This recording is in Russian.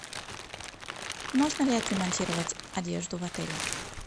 можно ли отремонтировать одежду в отеле